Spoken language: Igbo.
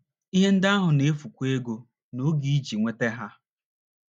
Ihe ndị ahụ na - efukwa ego na oge iji nweta ha.